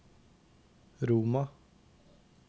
Roma